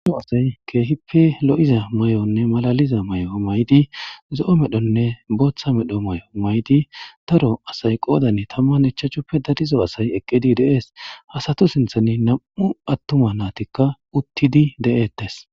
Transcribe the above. Ano asay keehippe lo'iza may7onne malaliza may'o maydi zo'o medhonne booththa medho may'o maydi daro asay qoodane tamman echachuppe darizo asay eqqidi deees hasatu sinthani nam'u attuma naatikka uttidi de'ettes